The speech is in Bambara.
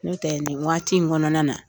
N'o tɛ nin waati in kɔnɔna na